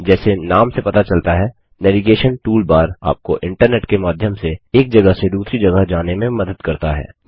जैसे नाम से पता चलता है नैवीगेशन टूलबार आपको इन्टरनेट के माध्यम से एक जगह से दूसरी जगह जाने में मदद करता है